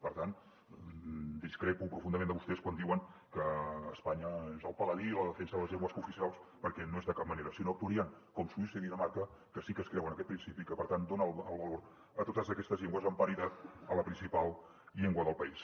per tant discrepo profundament de vostès quan diuen que espanya és el paladí de la defensa de les llengües cooficials perquè no ho és de cap manera si no actuarien com suïssa i dinamarca que sí que creuen en aquest principi i que per tant donen el valor a totes aquestes llengües amb paritat a la principal llengua del país